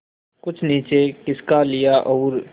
कुछ नीचे खिसका लिया और